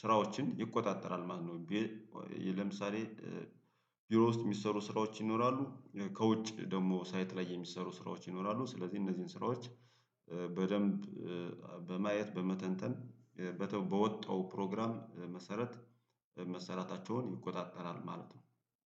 ስራዎችን ይቆጣጠራል ማለት ነው። ለምሳሌ ቢሮ ውስጥ የሚሰሩ ስራዎች ይኖራሉ ከውጭ ደግሞ ሳይት ላይ የሚሰሩ ስራዎች ይኖራሉ ስለዚህ እነዚህን ስራዎች በደንብ በማየት በመተንተን በወጣው ፕሮግራም መሰረት መሰራታቸውን ይቆጣጠራል ማለት ነው